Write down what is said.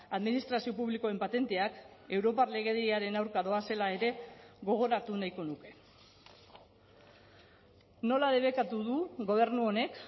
administrazio publikoen patenteak europar legediaren aurka doazela ere gogoratu nahiko nuke nola debekatu du gobernu honek